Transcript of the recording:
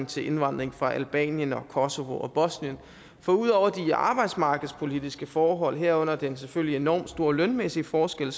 til indvandring fra albanien og kosovo og bosnien for ud over de arbejdsmarkedspolitiske forhold herunder den selvfølgelig enormt store lønmæssige forskel